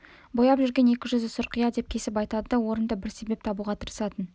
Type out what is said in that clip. бояп жүрген екі жүзді сұрқия деп кесіп айтады да орынды бір себеп табуға тырысатын